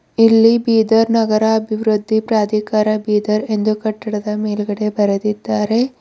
ಇಲ್ಲಿ ಬೀದರ್ ನಗರ ಅಭಿವೃದ್ಧಿ ಪ್ರಾಧಿಕಾರ ಬೀದರ್ ಎಂದು ಕಟ್ಟಡದ ಮೇಲ್ಗಡೆ ಬರೆದಿದ್ದಾರೆ.